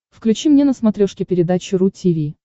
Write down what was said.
включи мне на смотрешке передачу ру ти ви